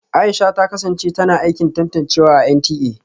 Aisha ta kasance tana aikin tantancewa a NTA